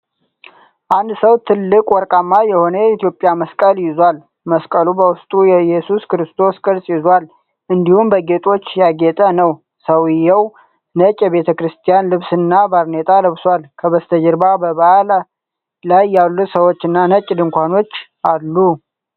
አንድ ሰው ትልቅ ወርቃማ የሆነ የኢትዮጵያ መስቀል ይዟል። መስቀሉ በውስጡ የእየሱስ ክርስቶስን ቅርጽ ይዟል፤ እንዲሁም በጌጦች ያጌጠ ነው። ሰውየው ነጭ የቤተ ክርስቲያን ልብስና ባርኔጣ ለብሷል። ከበስተጀርባ በበዓል ላይ ያሉ ሰዎችና ነጭ ድንኳኖች አሉ።